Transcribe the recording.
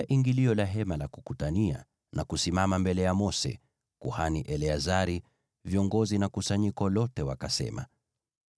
ingilio la Hema la Kukutania na kusimama mbele ya Mose, kuhani Eleazari, viongozi na kusanyiko lote, wakasema,